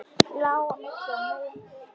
Lá á milli og umlaði.